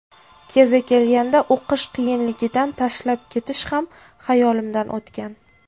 Kezi kelganda, o‘qish qiyinligidan tashlab ketish ham xayolimdan o‘tgan.